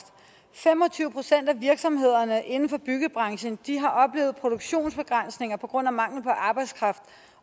fem og tyve procent af virksomhederne inden for byggebranchen har oplevet produktionsbegrænsninger på grund af mangel på arbejdskraft